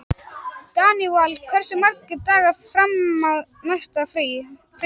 Daníval, hversu margir dagar fram að næsta fríi?